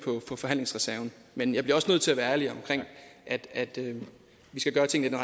på forhandlingsreserven men jeg bliver også nødt til at være ærlig omkring at at vi skal gøre tingene